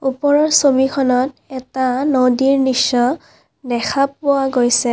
ওপৰৰ ছবিখনত এটা নদীৰ নৃশ্য দেখা পোৱা গৈছে।